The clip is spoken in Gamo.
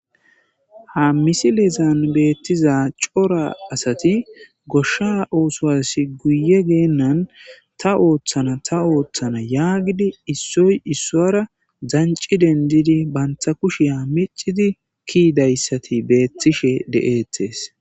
ha misilezan beettiza cora asati goshsha ooswasi guye geennan ta ooththana ta ooththana yaagidi issoy issuwara danci dendidi banta kushiya micidi kiidayssati beettishe de'eetees